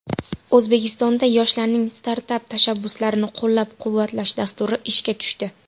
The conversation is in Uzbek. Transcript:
O‘zbekistonda yoshlarning startap tashabbuslarini qo‘llab-quvvatlash dasturi ishga tushdi.